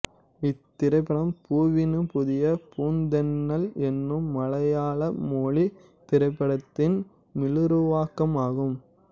இத்திரைப்படம் பூவினு புதிய பூந்தென்னல் என்னும் மலையாள மொழித் திரைப்படத்தின் மீளுருவாக்கம் ஆகும்